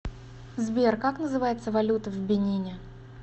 сбер как называется валюта в бенине